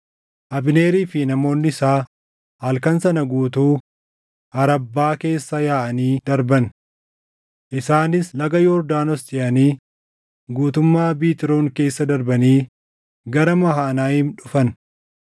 Abneerii fi namoonni isaa halkan sana guutuu Arabbaa keessa yaaʼanii darban. Isaanis Laga Yordaanos ceʼanii guutummaa Biitroon keessa darbanii gara Mahanayiim dhufan.